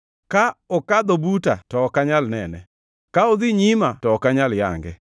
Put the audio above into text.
Ka okadho buta to ok anyal nene; ka odhi nyima to ok anyal yange.